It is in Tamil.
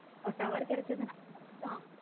Tower கிடைச்சதுன மட்டும்.